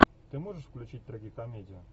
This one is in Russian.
ты можешь включить трагикомедию